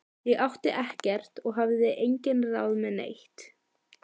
Ég átti ekkert og hafði engin ráð með neitt.